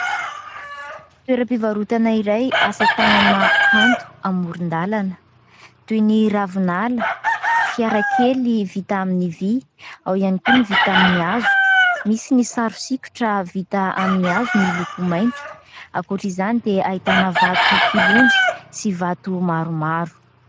Toeram-pivarotana iray asa tanana kanto amoron-dalana toy ny ravinala, fiara kely vita amin'ny vy, ao ihany koa ny vita amin'ny hazo ; misy ny sary sikotra vita amin'ny hazo miloko mainty ; ankoatra izany dia ahitana vatokilonjy sy vato maromaro.